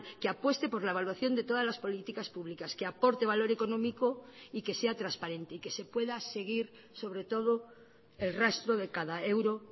que apueste por la evaluación de todas las políticas públicas que aporte valor económico y que sea transparente y que se pueda seguir sobre todo el rastro de cada euro